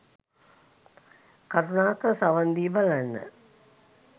කරුණාකර සවන් දී බලන්න